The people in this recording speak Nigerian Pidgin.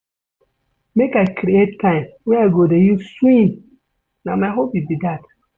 Make I create time wey I go dey use swim, na my hobby be dat.